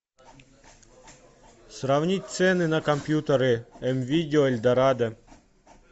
сравнить цены на компьютеры м видео эльдорадо